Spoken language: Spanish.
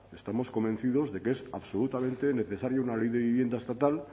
estamos convencidos de que es absolutamente necesaria una ley de vivienda estatal